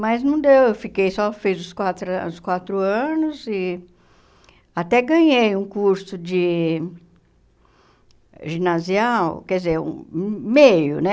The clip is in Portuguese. Mas não deu, eu fiquei, só fiz os quatro os quatro anos e até ganhei um curso de ginasial, quer dizer, meio, né?